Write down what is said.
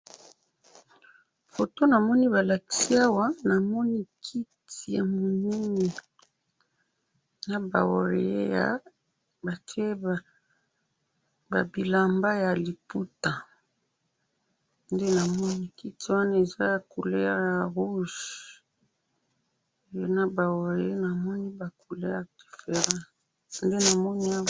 Foto namoni balakisi awa, namoni kiti ya munene, naba oreillé ya, batye ba bilamba ya liputa, nde namoni kiti wana eza ya couleur ya rouge, naba oreillé namoni ba couleur different, nde namoni awa.